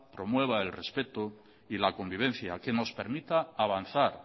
promueva el respeto y la convivencia que nos permita avanzar